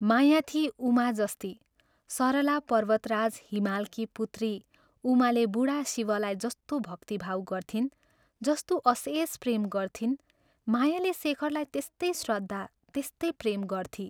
माया थिई उमा जस्ती सरला पर्वतराज हिमालकी पुत्री उमाले बूढा शिवलाई जस्तो भक्तिभाव गर्थिन्, जस्तो अशेष प्रेम गर्थिन्, मायाले शेखरलाई त्यस्तै श्रद्धा, त्यस्तै प्रेम गर्थी।